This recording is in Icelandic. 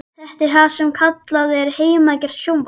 Þetta er það sem kallað er heimagert sjónvarp.